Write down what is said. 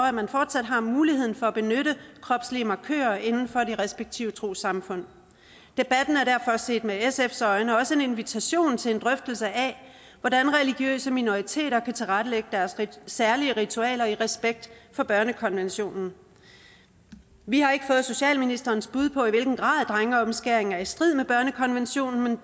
at man fortsat har muligheden for at benytte kropslige markører inden for de respektive trossamfund debatten er derfor set med sfs øjne også en invitation til en drøftelse af hvordan religiøse minoriteter kan tilrettelægge deres særlige ritualer i respekt for børnekonventionen vi har ikke fået socialministerens bud på i hvilken grad drengeomskæring er i strid med børnekonventionen